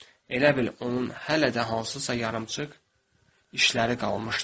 Elə bil onun hələ də hansısa yarımçıq işləri qalmışdı.